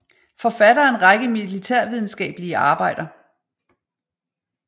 Forfatter af en række militærvidenskabelige arbejder